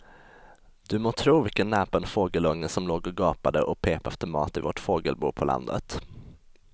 Du må tro vilken näpen fågelunge som låg och gapade och pep efter mat i vårt fågelbo på landet.